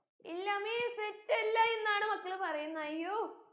ഇല്ല miss set അല്ല എന്നാണ് മക്കൾ പറയിന്നെ അയ്യോ